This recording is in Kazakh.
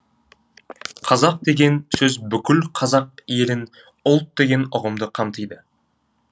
қазақ деген сөз бүкіл қазақ елін ұлт деген ұғымды қамтиды